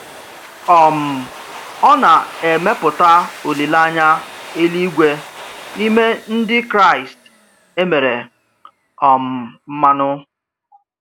um Ọ na-emepụta olileanya eluigwe n’ime Ndị Kraịst e mere um mmanụ.